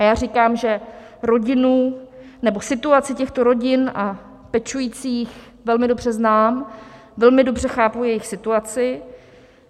A já říkám, že situaci těchto rodin a pečujících velmi dobře znám, velmi dobře chápu jejich situaci.